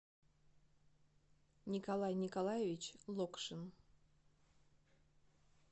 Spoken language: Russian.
николай николаевич локшин